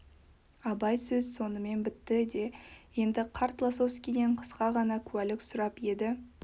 абай сөз сонымен бітті де енді қарт лосовскийден қысқа ғана куәлік сұрап еді